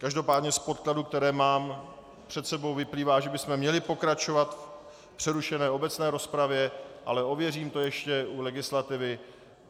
Každopádně z podkladů, které mám před sebou, vyplývá, že bychom měli pokračovat v přerušené obecné rozpravě, ale ověřím to ještě u legislativy.